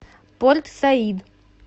порт саид